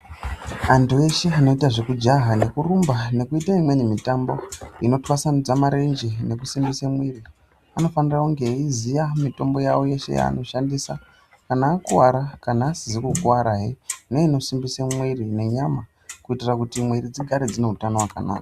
Antu eshe anoite zvekujaha nekurumbe nekuite imweni mitambo inotwasanudze marenje nekusimbise mwiri anofana kunge ayiziya mitombo yavo yeshe yavanoshandisa kuti kana akuwara, kana asizi kukwarahe neinosimbisa mwiri nenyama kuitire kuti mwiri dzigare dzine utano hwakanaka.